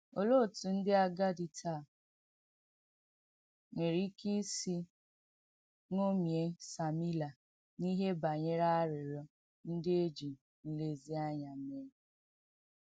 Olee otú ndị agadi taa nwere ike isi ṅomie Samịla n’ihe banyere arịrịọ ndị e ji nlezianya mee?